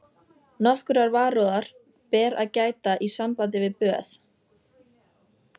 Nokkurrar varúðar ber að gæta í sambandi við böð